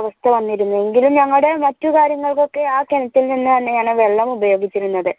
അവസ്ഥ വന്നിരുന്നു എങ്കിലും ഞങ്ങടെ മറ്റു കാര്യങ്ങൾക്കൊക്കെ ആ കിണറ്റിൽ നിന്ന് തന്നെയാണ് വെള്ളം ഉപയോഗിച്ചിരുന്നത്